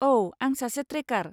औ, आं सासे ट्रेकार।